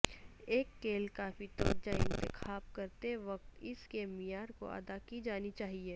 ایک کیل کافی توجہ انتخاب کرتے وقت اس کے معیار کو ادا کی جانی چاہئے